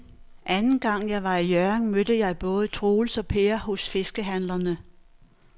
Anden gang jeg var i Hjørring, mødte jeg både Troels og Per hos fiskehandlerne.